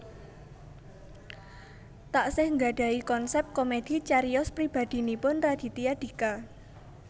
Taksih nggadhahi konsèp komedi cariyos pribadhinipun Raditya Dika